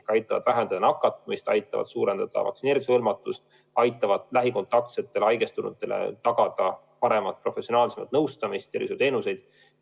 Need aitavad vähendada nakatumist, aitavad suurendada vaktsineerimisega hõlmatust, aitavad lähikontaktsetele ja haigestunutele tagada paremat professionaalset nõustamist, tervishoiuteenuseid.